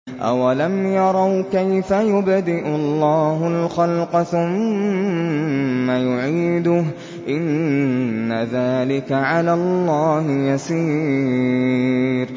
أَوَلَمْ يَرَوْا كَيْفَ يُبْدِئُ اللَّهُ الْخَلْقَ ثُمَّ يُعِيدُهُ ۚ إِنَّ ذَٰلِكَ عَلَى اللَّهِ يَسِيرٌ